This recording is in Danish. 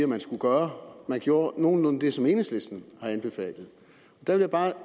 man skulle gøre man gjorde nogenlunde det som enhedslisten har anbefalet jeg vil bare